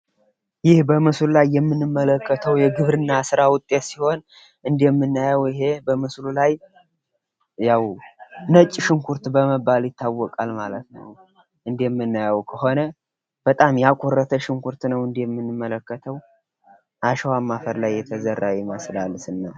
ይህ በምስሉ ላይ የምንመለከተው የግብርና ስራ ውጤት ሲሆን እንደምናየው ይሄ በምስሉ ላይ ነጭ ሽንኩርት በመባል ይታወቃል ማለት ነው። እንደምናየው ከሆነ በጣም ያኮርፍ ሽንኩርት ነው እንደምናየው እንደምንመለከተው ከአሽዋ አከባቢ የተዘራ ይመስላል።